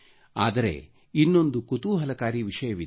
ಆದರೆ ಇನ್ನೊಂದು ಕುತೂಹಲಕಾರಿ ವಿಷಯವಿದೆ